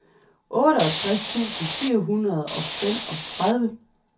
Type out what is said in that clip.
otteogtres tusind fire hundrede og femogtredive